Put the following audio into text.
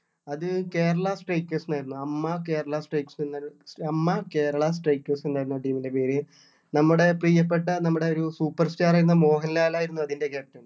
അത് കേരള strikers എന്നായിരുന്നു അമ്മ കേരള strikes എന്നായിരുന്നു അമ്മ കേരള strikers എന്നായിരുന്നു ആ team ൻ്റെ പേര് നമ്മുടെ പ്രിയപ്പെട്ട നമ്മുടെ ഒരു super star ആയിരുന്ന മോഹൻലാൽ ആയിരുന്നു അതിൻ്റെ captain